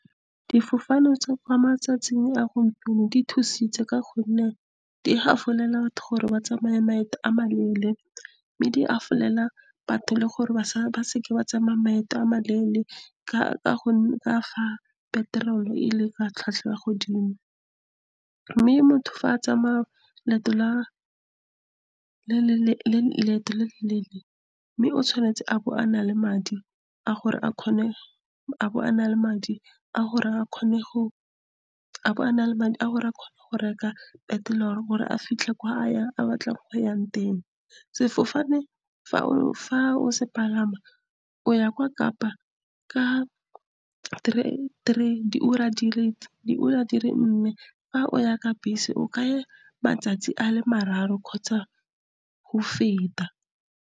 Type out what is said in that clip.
Difofane tsa kwa matsatsing a gompieno di thusitse ka gonne di gafolela batho gore ba tsamaye maeto a maleele, mme di gafolela batho le gore ba seke ba tsamaya maeto a maleele ka fa petrol tlhwatlhwa ya kwa godimo. Mme motho fa a tsamaya leeto le le leele, mme o tshwanetse a bo a na le madi a gore a kgone go reka petrol gore a fitlhe ko a batlang go ya teng. Sefofane , fa o se palama, o ya kwa Kapa ka terene diura di le nne. Fa o ya ka bese, o ka ya matsatsi a le mararo kgotsa go feta.